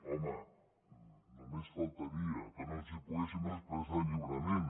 home només faltaria que no ens poguéssim expressar lliurement